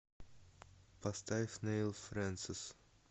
поставь нэйл фрэнсис